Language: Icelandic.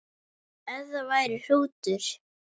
Ef það var hrútur.